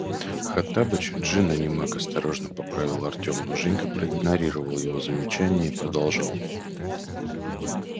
хоттабыч джинн а не маг осторожно поправил артём но женька проигнорировал его замечание и продолжал